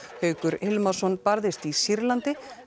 Haukur Hilmarsson barðist í Sýrlandi